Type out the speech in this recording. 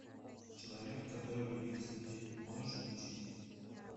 человек который любил цветы можешь включить